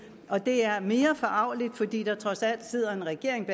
og det er mere forargeligt fordi der trods alt sidder en regering